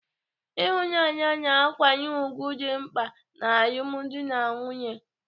Ịhụnanya na nkwanye ùgwù dị mkpa n'alụmdi na nwunye.